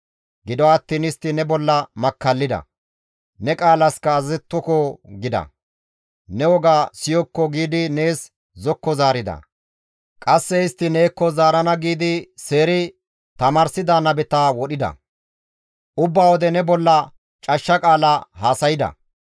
«Gido attiin istti ne bolla makkallida; ‹Ne qaalaska azazettoko› gida; ne wogaa siyokko giidi nees zokko zaarida; qasse istti neekko zaarana giidi seeri tamaarsida nabeta wodhida; ubba wode ne bolla cashsha qaala haasayda.